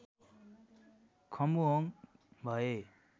खम्बुहोङ भए